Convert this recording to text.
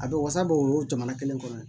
A bɛ wasa bɔ o jamana kelen kɔnɔ yen